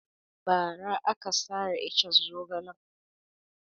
Ba ra aka sare iccen zogalen